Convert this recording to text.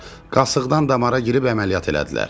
Qasıqdan damara girib əməliyyat elədilər.